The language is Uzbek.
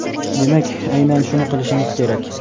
demak aynan shuni qilishingiz kerak.